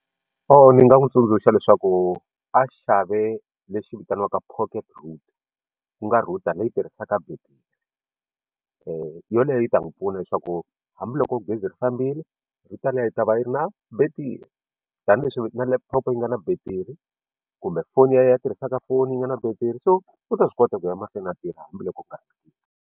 Ni nga n'wi tsundzuxa leswaku a xavi lexi vitaniwaka pocket router ku nga router leyi tirhisaka battery yoleyo yi ta n'wi pfuna leswaku hambiloko gezi ri fambile router liya yi ta va yi ri na betiri tanihileswi na laptop yi nga na battery kumbe foni ya ya ya tirhisaka foni yi nga na battery so u ta swi kota ku ya mahlweni a tirha hambiloko ku nga ri na .